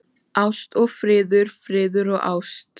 Ást og friður, friður og ást.